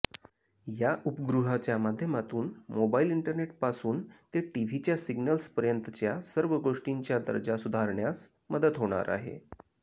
या उपग्रहाच्या माध्यमातून मोबाईल इंटरनेटपासून ते टीव्हीच्या सिग्नल्सपर्यंतच्या सर्व गोष्टींच्या दर्जा सुधारण्यास मदत होणार आहे